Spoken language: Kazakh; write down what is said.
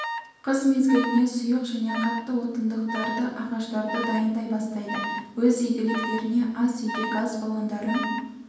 қыс мезгіліне сұйық және қатты отындықтарды ағаштарды дайындай бастайды өз игіліктеріне ас үйде газ баллондарын